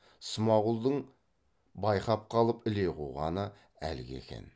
смағұлдың байқап қалып іле қуғаны әлгі екен